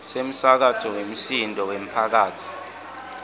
semsakato wemsindvo wemphakatsi